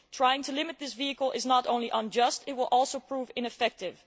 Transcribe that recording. Trying to limit this vehicle is not only unjust, it will also prove ineffective.